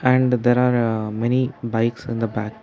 and there are many bikes in the back.